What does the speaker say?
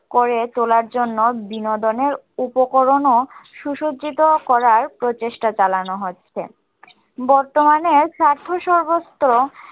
করে তোলার জন্য বিনোদনের উপকরণ ও সুসজ্জিত করার প্রচেষ্টা চালানো হচ্ছে বর্তমানে সাধ্য স হস্ত